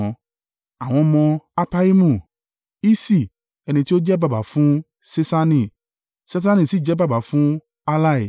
Àwọn ọmọ Appaimu: Iṣi, ẹni tí ó jẹ́ baba fún Ṣeṣani. Ṣeṣani sì jẹ́ baba fún Ahlai.